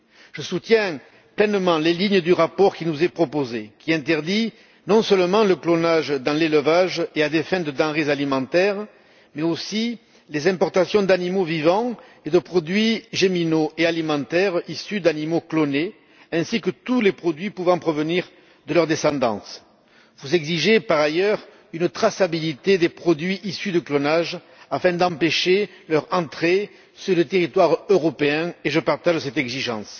Je soutiens pleinement les lignes du rapport qui nous est proposé, qui interdit non seulement le clonage dans l'élevage et à des fins de denrées alimentaires, mais aussi les importations d'animaux vivants et de produits géminaux et alimentaires issus d'animaux clonés, ainsi que tous les produits pouvant provenir de leur descendance. Vous exigez, par ailleurs, une traçabilité des produits issus du clonage afin d'empêcher leur entrée sur le territoire européen. Je partage cette exigence.